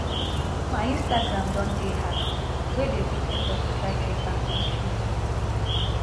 my instagram don dey hacked wey dey put effort to try take back control